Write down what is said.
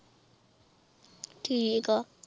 ਠੀਕ ਆ